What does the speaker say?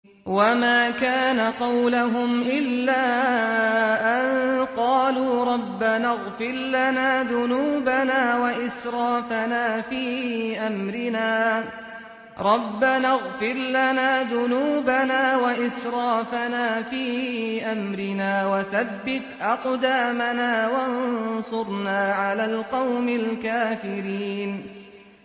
وَمَا كَانَ قَوْلَهُمْ إِلَّا أَن قَالُوا رَبَّنَا اغْفِرْ لَنَا ذُنُوبَنَا وَإِسْرَافَنَا فِي أَمْرِنَا وَثَبِّتْ أَقْدَامَنَا وَانصُرْنَا عَلَى الْقَوْمِ الْكَافِرِينَ